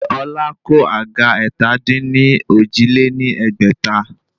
Ṣé Ọlá kó àga ẹ̀ta-dín-ní-ojì lé ní ẹgbẹ́ta?